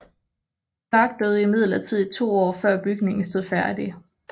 Clark døde imidlertid to år før bygningen stod færdig